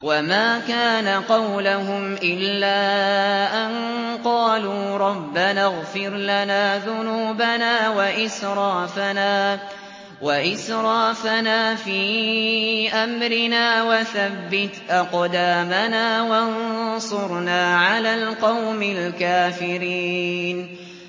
وَمَا كَانَ قَوْلَهُمْ إِلَّا أَن قَالُوا رَبَّنَا اغْفِرْ لَنَا ذُنُوبَنَا وَإِسْرَافَنَا فِي أَمْرِنَا وَثَبِّتْ أَقْدَامَنَا وَانصُرْنَا عَلَى الْقَوْمِ الْكَافِرِينَ